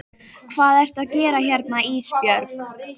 Hvað ertu að gera hérna Ísbjörg?